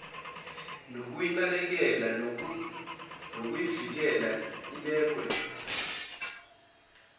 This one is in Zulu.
yokuyinakekela nokuyivikela ibekwe